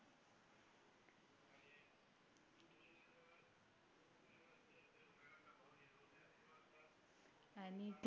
आणि ती